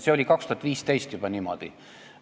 See oli juba 2015 niimoodi.